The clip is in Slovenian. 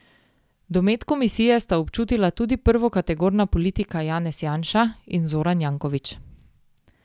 Domet komisije sta občutila tudi prvokategorna politika Janez Janša in Zoran Janković.